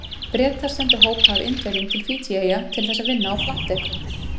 Bretar sendu hópa af Indverjum til Fídjieyja til þess að vinna á plantekrum.